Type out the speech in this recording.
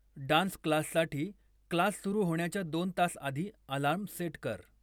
dance क्लाससाठी class सुरु होण्याच्या दोन तास आधी अलार्म सेट कर